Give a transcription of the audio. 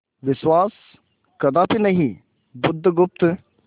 विश्वास कदापि नहीं बुधगुप्त